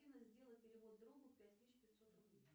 афина сделай перевод другу пять тысяч пятьсот рублей